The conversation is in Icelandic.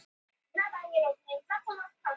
orðin urðu fleyg sem tákn fyrir kreppuna á íslandi